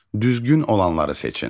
Düzgün olanları seçin.